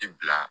I bila